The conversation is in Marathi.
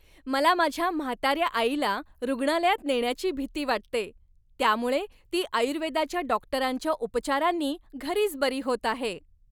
मला माझ्या म्हाताऱ्या आईला रुग्णालयात नेण्याची भीती वाटते, त्यामुळे ती आयुर्वेदाच्या डॉक्टरांच्या उपचारांनी घरीच बरी होत आहे.